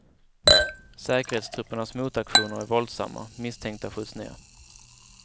Säkerhetstruppernas motaktioner är våldsamma, misstänkta skjuts ned.